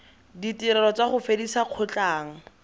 ditirelo tsa go fedisa kgotlang